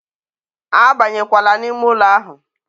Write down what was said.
a banyekwala n'ime ụlọ ahụ!